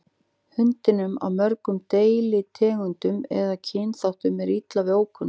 Hundum af mörgum deilitegundum eða kynþáttum er illa við ókunnuga.